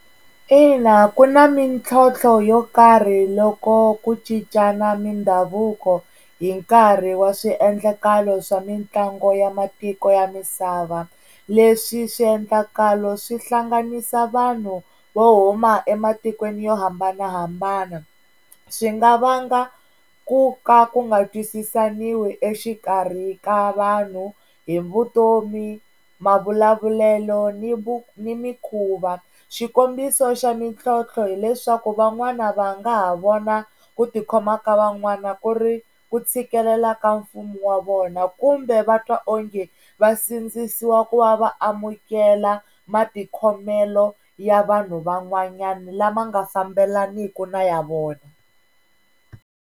Ina, ku na mintlhontlho yo karhi loko ku cincana mindhavuko hi nkarhi wa swiendlakalo swa mitlangu ya matiko ya misava leswi swiendlakalo swi hlanganisa vanhu vo huma ematikweni yo hambanahambana swi nga vanga ku ka ku nga twisisaniwi exikarhi ka vanhu hi vutomi, mavulavulelo ni ni mikuva. Xikombiso xa mintlhontlho hileswaku van'wana va nga ha vona ku tikhoma ka van'wana ku ri ku tshikelela ka mfumo wa vona kumbe va twa onge va sindzisiwa ku va va amukela matikhomelo ya vanhu van'wanyana lama nga fambelaneki na ya vona.